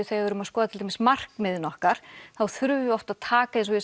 þegar við erum að skoða til dæmis markmiðin okkar þá þurfum við oft að taka